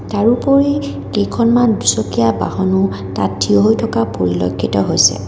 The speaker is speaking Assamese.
তাৰোপৰি কেইখনমান দুচকীয়া বাহনো তাত থিয় হৈ থকা পৰিলক্ষিত হৈছে।